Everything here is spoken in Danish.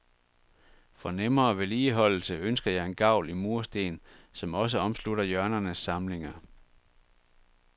For nemmere vedligeholdelse ønsker jeg en gavl i mursten, som også omslutter hjørnernes samlinger.